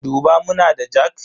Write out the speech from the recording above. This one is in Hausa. Duba muna da jak?